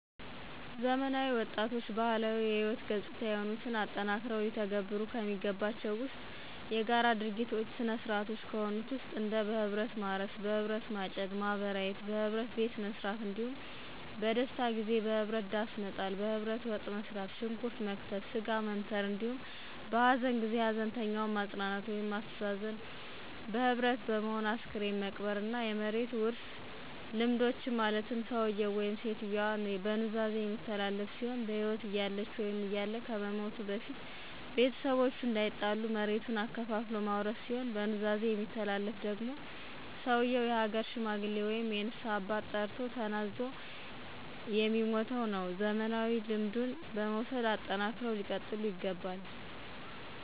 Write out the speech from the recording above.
ዘመናዊ ወጣቶችባህላዊ ህይወት ገጽታ የሆኑትን አጠናክረው ሊተገብሩ የሚገባቸው ዉስጥ፣ የጋራ ድጋጊ ሥርዓቶች የሆኑትን እንደበህብረትማርስ፣ በህብረት ማጨድ፣ ማበራየት፣ (በህብረትመዉቃት)፣በህብረት ቤትመሥራት፣ እንዳሁም በደስታጊዜበህብረት ዳሥመጣል፣ በህብረት ወጥመሥራት፣ ሽንኩረት መክተፍ፣ ሥጋ መክተፍ(መምተር)አንዲሁም በሀዘንጊዜ(በመከራ ጊዜ) ሀዘንተኛዉን ማጽናናት ወይም ማስተዛዘንዘ ህብረት በመሆን አስክሬን መቅበር። እና የመሬት ዉርሥልምዶችን ማለትም ሠዉየዉ ( ሴትየዋ)በኑዛዜ የሚተላለፍ ሲሆን በህይወት እያለ(እያለች )ከመሞቱ(ከመሞቷ)በፊት ቤተሰቦቹ እንዳይጣሉ መሬቱን አከፋፍሎ ማውረስ ሲሆን፣ በኑዛዜ የሚተላለፍ ደግሟ ሰዉየው የሀገር ሽማግሌ ወይም የንስሀ አባት ጠርቶ ተናዞ የሚሟተዉነዉ። ዘመናዊ ልምዱን በመዉሰድ አጠናክረው ሊቀጥሉ ይገባል።